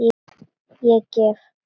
Ég gef.